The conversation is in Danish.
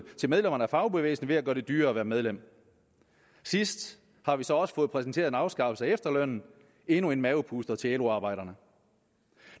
til medlemmerne af fagbevægelsen ved at man gør det dyrere at være medlem senest har vi så også fået præsenteret en afskaffelse af efterlønnen endnu en mavepuster til lo arbejderne